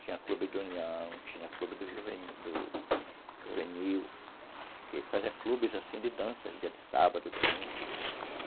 Tinha clube do União, tinha clube do Juvenil, que ia fazer clubes, assim, de dança, dia de sábado, domingo.